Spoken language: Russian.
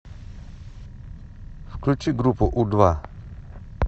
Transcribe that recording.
включи группу у два